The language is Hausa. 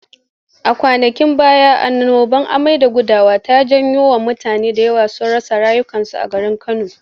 A kwanakin baya annobar amai da gudawa ta jawo mutane da yawa sun rasa rayukansu a garin Kano.